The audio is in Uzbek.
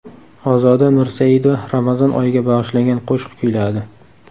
Ozoda Nursaidova Ramazon oyiga bag‘ishlangan qo‘shiq kuyladi.